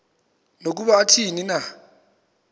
nokuba athini na